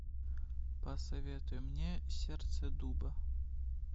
посоветуй мне сердце дуба